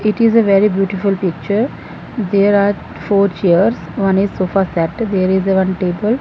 it is a very beautiful picture there are four chairs one is sofa set there is a one table.